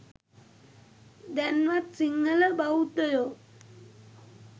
දැන්වත් සිංහල බෞද්ධයෝ